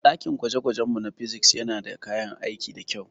dakin gwaje-gwajenmu na Physics yana da kayan aiki da kyau.